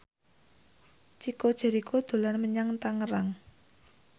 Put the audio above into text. Chico Jericho dolan menyang Tangerang